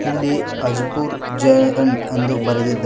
ಇಲ್ಲಿ ಅಜಪೂರ್ ಜೇ_ಎನ್ ಎಂದು ಬರೆದಿದ್ದಾ--